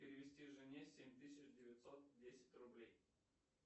перевести жене семь тысяч девятьсот десять рублей